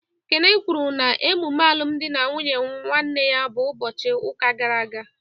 Kene kwuru na emume alụmdi na nwunye nwanne ya bụ ụbọchị ụka gara aga.